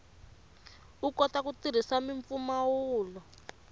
u kota ku tirhisa mimpfumawulo